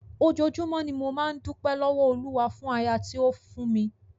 Ojoojúmọ́ ni mo máa ń dúpẹ́ lọ́wọ́ Olúwa fún aya tí ó fún mi.